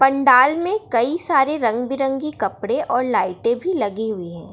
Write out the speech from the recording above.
पंडाल में कई सारे रंग-बिरंगी कपड़े और लाइटे भी लगी हुई है।